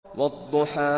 وَالضُّحَىٰ